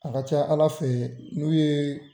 A ka ca ALA fɛ n'u ye